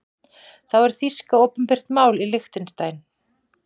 Þá er þýska opinbert mál í Liechtenstein.